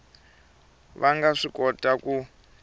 va nga swi kota ku